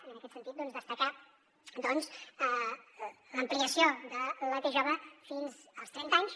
i en aquest sentit destacar doncs l’ampliació de la t jove fins als trenta anys